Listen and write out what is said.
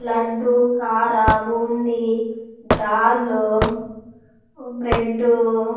ಲಡ್ಡು ಖಾರ ಬೂಂದಿ ಡಾಲು ಬ್ರೆಡ್ಡು --